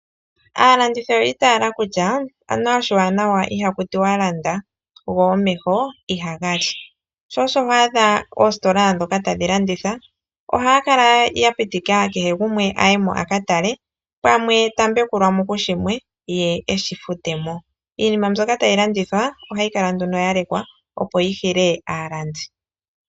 Aalandithi oyi itala kutya aniwa oshiwanawa ihaku tiwa landa, go omeho ihaga li. Sho osho ho adha oositola ndhoka tadhi landitha oha yakala ya pitika kehe gumwe a ka tale pamwe ta mbekulwa mo kushimwe ye eshi fute mo. Iinima mbyoka tayi landithwa ohayi kala nduno yalekwa, opo yi hile aalandi.